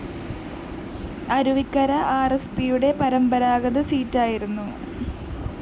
അരുവിക്കര ആര്‍എസ്പിയുടെ പരമ്പരാഗത സീറ്റായിരുന്നു